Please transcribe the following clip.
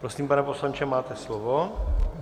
Prosím, pane poslanče, máte slovo.